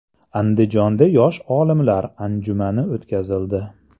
Andijonda yosh olimlar anjumani o‘tkazildi .